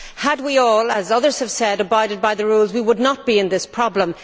Had we all, as others have said, abided by the rules, we would not have this problem.